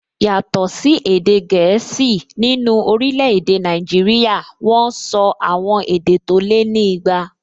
Yàtọ̀ sí èdè gẹ̀ẹ́sì, nínú orílẹ̀-èdè Nàìjíríyà wọ́n sọ àwọn èdè tó lé ní igba